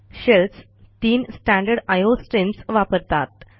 shells तीन standard IO streams वापरतात